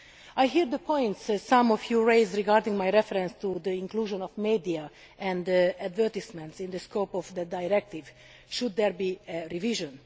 I hear the points that some of you raised regarding my reference to the inclusion of the media and advertisements in the scope of the directive should there be revision?